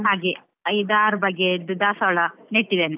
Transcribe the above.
ಹಾಗೆ ಐದಾರು ಬಗೆಯದ್ದು ದಾಸವಾಳ ನೆಟ್ಟಿದ್ದೇನೆ.